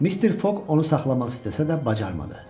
Mister Foq onu saxlamaq istəsə də bacarmadı.